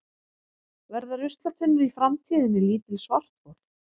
verða ruslatunnur í framtíðinni lítil svarthol